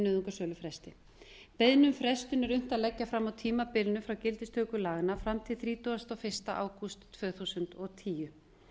nauðungarsölufresti beiðni um frestun er unnt að leggja fram á tímabilinu frá gildistöku laganna fram til þrítugasta og fyrsta ágúst tvö þúsund og tíu